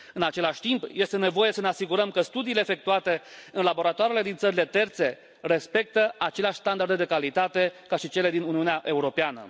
În același timp, este nevoie să ne asigurăm că studiile efectuate în laboratoarele din țările terțe respectă aceleași standarde de calitate ca și cele din Uniunea Europeană.